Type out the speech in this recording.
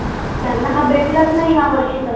त्यांना हा भेटलच नाही यावर्षी